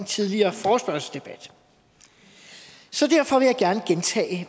tidligere forespørgselsdebat så derfor